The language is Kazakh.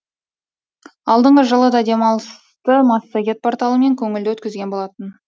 алдыңғы жылы да демалысты массагет порталымен көңілді өткізген болатынмын